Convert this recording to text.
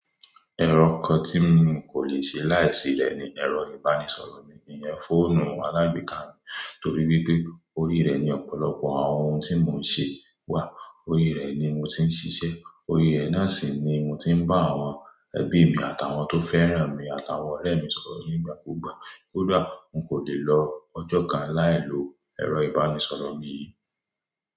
Ẹ̀rọ kan tí n kò lè ṣe láì sílẹ̀ ni ẹ̀rọ ìbánisọ̀rọ̀ mi. Ìyẹn fóònù alágbèéká mi torí pé orí rẹ̀ ni ọ̀pọ̀lọpọ̀ àwọn ohun tí mò ń ṣe wà. Orí rẹ̀ ni mò ń tí ń ṣiṣẹ́, orí rẹ̀ náà sì ni mò ń tí ń bá àwọn ẹbí mi àtàwọn tó fẹ́ràn mi àtàwọn ọ̀rẹ́ mi sọ̀rọ̀ nígbàkúgbà. Kódà, n kò lè lọ ọjọ́ kan láìlo ẹ̀rọ ìbánisọ̀rọ̀ mi.